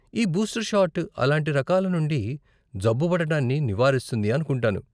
ఈ booster shot అలాంటి రకాల నుండి జబ్బుపడటాన్ని నివారిస్తుంది అనుకుంటాను.